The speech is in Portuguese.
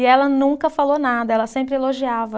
E ela nunca falou nada, ela sempre elogiava.